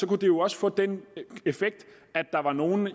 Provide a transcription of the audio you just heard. kunne det jo også få den effekt at der var nogle af